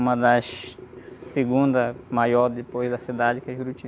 Uma das segundas maiores depois da cidade que é Juriti.